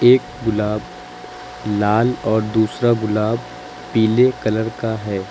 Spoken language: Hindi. एक गुलाब लाल और दूसरा गुलाब पीले कलर का है।